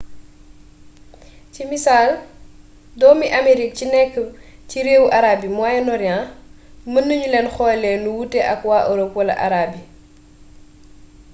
ci misaal doomi amerique ci nekk ci réewu arab yi moyen-orient mën nañu leen xoolee nu wuute ak waa europe wala arabe yi